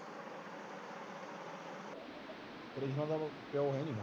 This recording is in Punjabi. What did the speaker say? ਕ੍ਰਿਸ਼ਨਾ ਦਾ ਤਾ ਪਿਓ ਹੈਂ ਨਹੀਂ